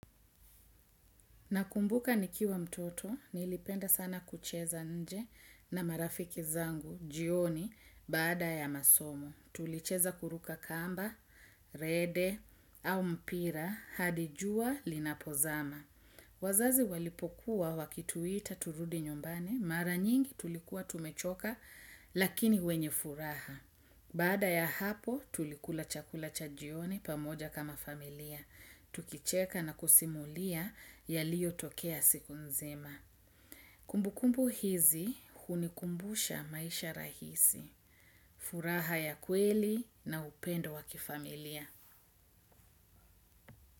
Nakumbuka nikiwa mtoto, nilipenda sana kucheza nje na marafiki zangu, jioni, bada ya masomo. Tulicheza kuruka kamba, rede, au mpira, hadijua, linapozama. Wazazi walipokuwa wakituita turudi nyumbani, mara nyingi tulikuwa tumechoka, lakini wenye furaha. Bada ya hapo, tulikula chakula cha jioni, pamoja kama familia. Tukicheka na kusimulia ya liyo tokea siku nzima. Kumbukumbu hizi hunikumbusha maisha rahisi furaha ya kweli na upendo wa kifamilia.